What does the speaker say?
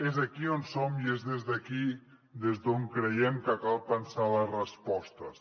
és aquí on som i és des d’aquí des d’on creiem que cal pensar les respostes